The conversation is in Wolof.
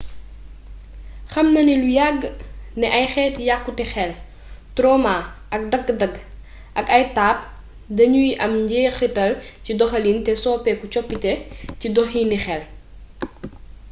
xam nanu lu yàgg ne ay xeeti yàkkute xel tromaa ay dagg-dagg ak ay taab danuy am njeexital ci doxalin te sooke coppite ci doxini xel